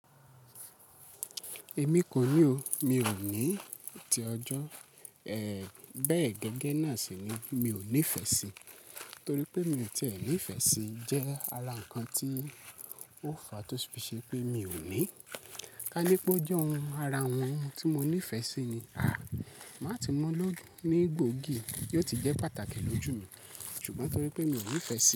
Èmi kò ní o. Mi ò ní ti ọjọ́, ẹ́, bẹ́ẹ̀ gẹ́gẹ́ náà sì ni mi ò nífẹ̀ẹ́ sí i, torí pé mi ò tí è ní ìfẹ́ sí i jẹ́ ara ǹkan tí ó fa tó ṣì ṣe pé mi ò ní. Ka ní pé ó jẹ́ ohun ara ohun tí mo nífẹ̀ẹ́ sí i ni, à, màá ti mọ́ lọ́dún ní gbòógì, yóò ti jẹ́ pàtàkì lójú mi, ṣùgbọ́n torí pé mi ò nífẹ̀ẹ́ sí i.